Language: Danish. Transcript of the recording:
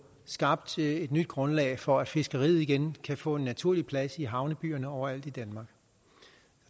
skabt et nyt grundlag for at fiskeriet kan kan få en naturlig plads i havnebyerne overalt i danmark